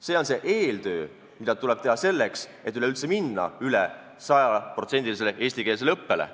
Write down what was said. See on see eeltöö, mida tuleb teha selleks, et üleüldse minna üle sajaprotsendilisele eestikeelsele õppele.